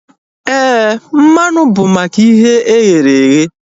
Éè, mmanụ bụ maka ihe e ghere eghe